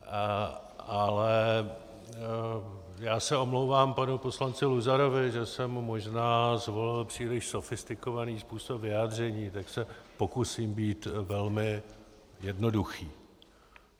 Ale já se omlouvám panu poslanci Luzarovi, že jsem možná zvolil příliš sofistikovaný způsob vyjádření, tak se pokusím být velmi jednoduchý.